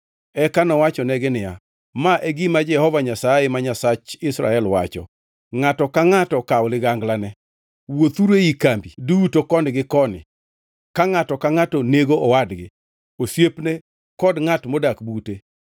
Eka nowachonegi niya, “Ma e gima Jehova Nyasaye, ma Nyasach Israel wacho: ‘Ngʼato ka ngʼato okaw liganglane. Wuothuru ei kambi duto koni gi koni ka ngʼato ka ngʼato nego owadgi, osiepne kod ngʼat modak bute.’ ”